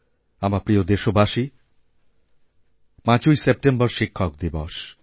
আমার প্রিয়দেশবাসী ৫ই সেপ্টেম্বর শিক্ষক দিবস